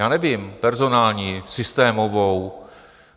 Já nevím, personální, systémovou.